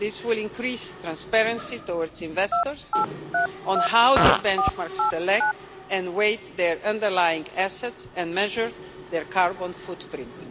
This will increase transparency towards investors on how these benchmarks select and weigh their underlying assets and measure their carbon footprint.